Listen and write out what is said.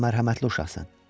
sən mərhəmətli uşaqsan.